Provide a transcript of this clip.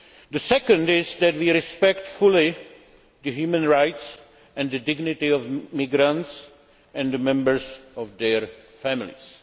The second is that we respect fully the human rights and the dignity of migrants and members of their families.